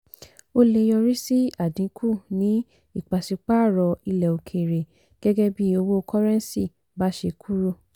ó lè yọrí sí àdínkù ní ìpàsípààrọ̀ ilẹ̀ òkèèrè gẹ́gẹ́ bí owó kọ́rẹ́ńsì bá ṣe kúrò.